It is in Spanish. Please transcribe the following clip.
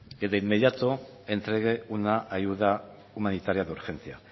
que de inmediato entregue una ayuda humanitaria de urgencia